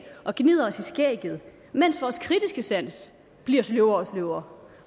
og gnider os i skægget mens vores kritiske sans bliver sløvere og sløvere